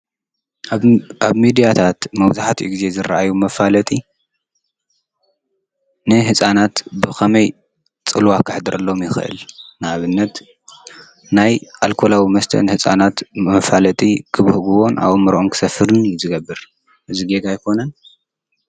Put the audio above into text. ኣብ ሚድያታት መብዛሕተኡ ግዘ ዝረኣዩ መፋለጢ ንህፃናት ብከመይ ፅልዋ ከሕድረሎም ይክእል። ንኣብነት ናይ ኣልኮላዊ ንህፃናት መፋለጢ ክብህጉዎን ኣእምርኦም ክሰፍርን እዩ ዝገብር ። እዚ ጌጋ ኣይኮነን?